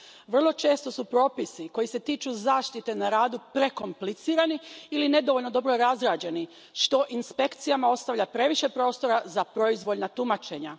Vrlo često su propisi koji se tiču zaštite na radu prekomplicirani ili nedovoljno dobro razrađeni, što inspekcijama ostavlja previše prostora za proizvoljna tumačenja.